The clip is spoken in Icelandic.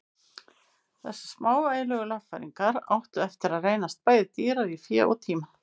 Þessar smávægilegu lagfæringar áttu eftir að reynast bæði dýrar í fé og tíma.